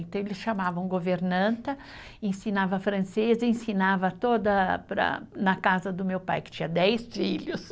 Então, eles chamavam governanta, ensinava francês, ensinava toda para, na casa do meu pai, que tinha dez filhos.